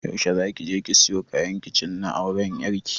Yaushe za ki je siyo kayan kicin na auran ƴar ki?